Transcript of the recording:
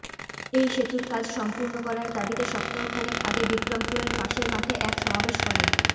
এই সেতুর কাজ সম্পূর্ণ করার দাবিতে সপ্তাহ খানেক আগে বিক্রমপুরের পাশের মাঠে এক সমাবেশ করেন